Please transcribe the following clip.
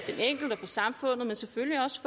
for samfundet men selvfølgelig også